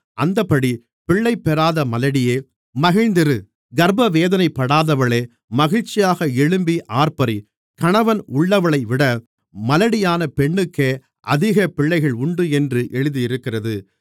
அந்தப்படி பிள்ளைபெறாத மலடியே மகிழ்ந்திரு கர்ப்பவேதனைப்படாதவளே மகிழ்ச்சியாக எழும்பி ஆர்ப்பரி கணவன் உள்ளவளைவிட மலடியான பெண்ணுக்கே அதிக பிள்ளைகள் உண்டு என்று எழுதியிருக்கிறது